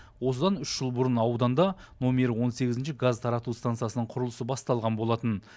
осыдан үш жыл бұрын ауданда номері он сегізінші газ тарату станциясының құрылысы басталған болатын